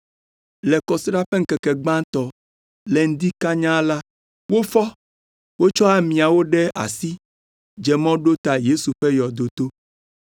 Le Kɔsiɖa ƒe ŋkeke gbãtɔ, le ŋdi kanya la, wofɔ, tsɔ amiawo ɖe asi dze mɔ ɖo ta Yesu ƒe yɔdo to.